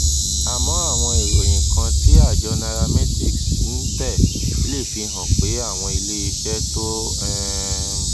àmọ àwọn ìròyìn kan tí àjọ nairametrics ń tẹ lé fi hàn pé àwọn iléeṣẹ tó um